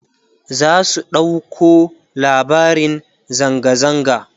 za su ɗauko labarin zanga zanga